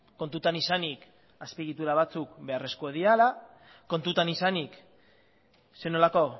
kontutan izanik azpiegitura batzuk beharrezkoak direla kontutan izanik zer nolako